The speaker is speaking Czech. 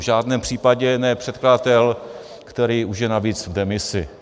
V žádném případě ne předkladatel, který už je navíc v demisi.